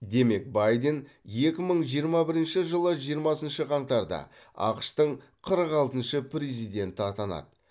демек байден екі мың жиырма бірінші жылы жиырмасыншы қаңтарда ақш тың қырық алтыншы президенті атанады